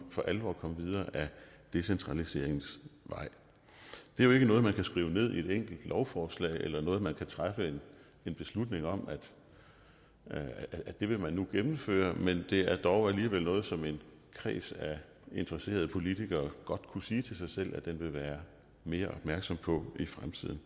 for alvor komme videre ad decentraliseringens vej det er jo ikke noget man kan skrive ned i et enkelt lovforslag eller noget som man kan træffe beslutning om at man nu vil gennemføre men det er dog alligevel noget som en kreds af interesserede politikere godt kunne sige til sig selv at de vil være mere opmærksomme på i fremtiden